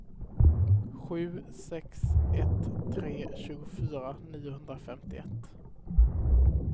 sju sex ett tre tjugofyra niohundrafemtioett